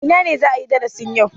A ina za a yi darasin yau?